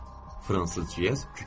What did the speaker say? Fransız Cyez kükrədi.